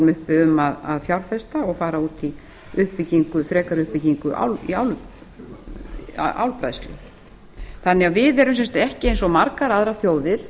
uppi um að fjárfesta og fara út í frekari uppbyggingu í álbræðslu þannig að við erum sem sagt ekki eins og margar aðrar þjóðir